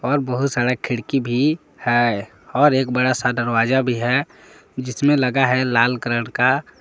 और बहुत सारा खिड़की भी है और एक बड़ा सा दरवाजा भी है जिसमें लगा है लाल कलर का--